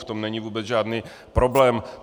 V tom není vůbec žádný problém.